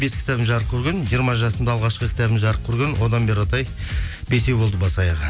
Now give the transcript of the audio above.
бес кітабым жарық көрген жиырма жасымда алғашқы кітабым жарық көрген одан бері қаратай бесеу болды бас аяғы